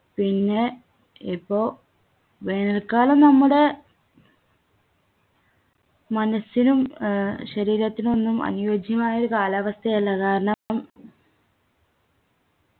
പിന്നെ ഇപ്പൊ വേനൽക്കാലം നമ്മുടെ മനസ്സിനും ഏർ ശരീരത്തിനൊന്നും അനുയോജ്യമായ കാലാവസ്ഥയല്ല കാരണം